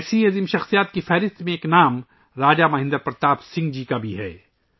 ایسی عظیم ہستیوں کی فہرست میں ایک نام راجہ مہندر پرتاپ سنگھ جی کا بھی ہے